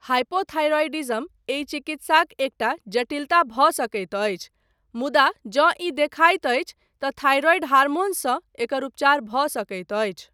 Hypothyroidism एहि चिकित्साक एकटा जटिलता भऽ सकैत अछि मुदा जँ ई देखाइत अछि तँ थाइरॉइड हार्मोनसँ एकर उपचार भऽ सकैत अछि।